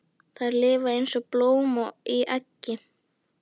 Þær lifa eins og blóm í eggi.